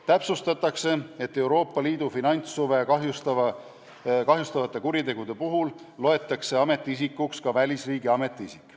Täpsustatakse, et Euroopa Liidu finantshuve kahjustavate kuritegude puhul loetakse ametiisikuks ka välisriigi ametiisik.